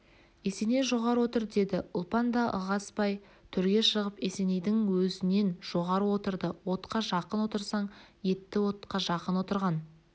есеней жоғары отыр деді ұлпан да ығыспай төрге шығып есенейдің өзінен жоғары отырды отқа жақын отырсаң етті отқа жақын отырған